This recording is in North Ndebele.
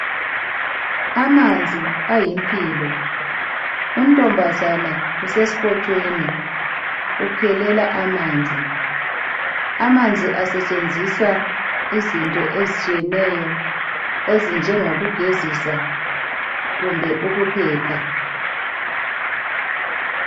Amanzi ayimpilo untombazana usesikontshweni ukhelela amanzi amanzi asentshenziswa izinto ezitshiyeneyo ezinje ngokugezisa kumbe ukupheka